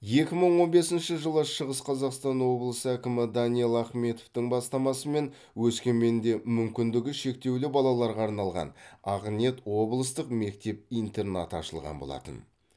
екі мың он бесінші жылы шығыс қазақстан облысы әкімі данил ахметовтың бастамасымен өскеменде мүмкіндігі шектеулі балаларға арналған ақ ниет облыстық мектеп интернаты ашылған болатын